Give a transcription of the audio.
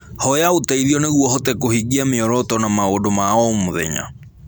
Hoya ũteithio nĩguo ũhote kũhingia mĩoroto na maũndũ ma o mũthenya.